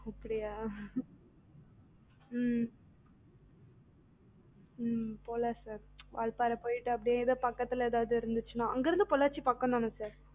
அப்படியா ம் ம் போலாம் sir வால்பாறை போய்ட்டு அப்டியே ஏதாது பக்கத்துல ஏதாது இருந்துச்சுன்னா அங்கயிருந்து பொள்ளாச்சி பக்கம் தான sir